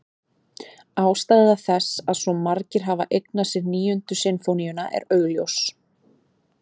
Ástæða þess að svo margir hafa eignað sér Níundu sinfóníuna er augljós.